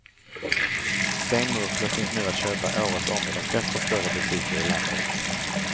Stenmurklor finns nu att köpa året om i de flesta större butiker i landet.